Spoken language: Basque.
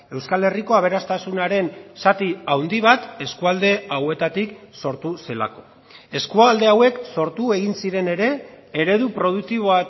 euskal herriko aberastasunaren zati handi bat eskualde hauetatik sortu zelako eskualde hauek sortu egin ziren ere eredu produktibo